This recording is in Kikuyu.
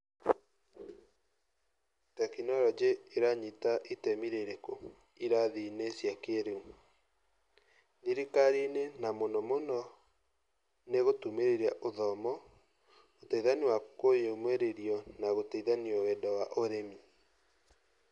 Tekinoronjĩ ĩranyita itemi rĩrĩkũ irathi-inĩ cia kĩĩrĩu? Thirikari-inĩ na mũnomũno nigũtumĩrĩria ũthomo, uteithania wa kũyũmĩrĩrio na gũteithanio wendo wa ũrĩmi.